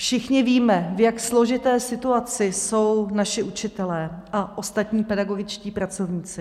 Všichni víme, v jak složité situaci jsou naši učitelé a ostatní pedagogičtí pracovníci.